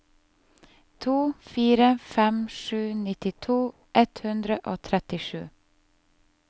to fire fem sju nittito ett hundre og trettisju